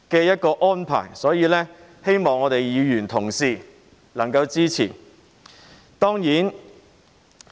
因此，希望議員同事能夠支持。